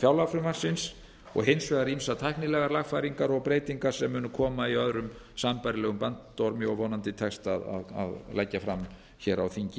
fjárlagafrumvarpsins og hins vegar ýmsar tæknilegar lagfæringar og breytingar sem munu koma í öðrum sambærilegum bandormi og vonandi tekst að leggja fram hér á þingi